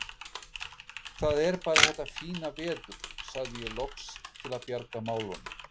Það er bara þetta fína veður sagði ég loks til að bjarga málunum.